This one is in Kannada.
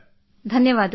ಧನ್ಯವಾದ ಸರ್